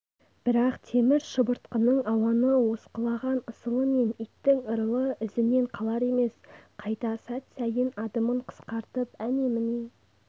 бірақ темір шыбыртқының ауаны осқылаған ысылы мен иттің ырылы ізінен қалар емес қайта сәт сайын адымын қысқартып әне-міне